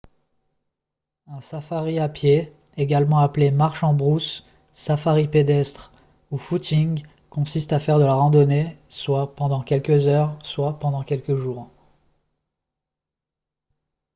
un safari à pied également appelé « marche en brousse »« safari pédestre » ou « footing » consiste à faire de la randonnée soit pendant quelques heures soit pendant plusieurs jours